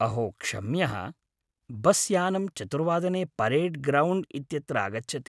अहो क्षम्यः, बस् यानं चतुर्वादने परेड् ग्राउण्ड् इत्यत्र आगच्छति।